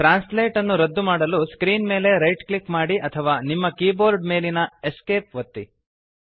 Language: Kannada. ಟ್ರಾನ್ಸ್ಲೇಟ್ ಅನ್ನು ರದ್ದುಮಾಡಲು ಸ್ಕ್ರೀನ್ ಮೇಲೆ ರೈಟ್ ಕ್ಲಿಕ್ ಮಾಡಿ ಅಥವಾ ನಿಮ್ಮ ಕೀಬೋರ್ಡ್ ಮೇಲಿನ Esc ಒತ್ತಿ